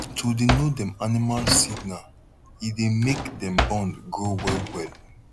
to dey know dem animal signal e dey make them bond grow well well